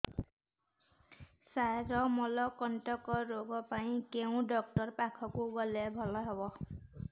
ସାର ମଳକଣ୍ଟକ ରୋଗ ପାଇଁ କେଉଁ ଡକ୍ଟର ପାଖକୁ ଗଲେ ଭଲ ହେବ